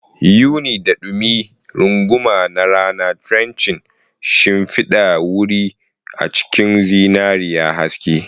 Yuni, da dumi runguma na rana, drenching shimfidar wuri a cikin zinariya haske.